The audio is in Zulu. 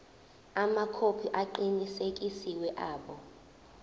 amakhophi aqinisekisiwe abo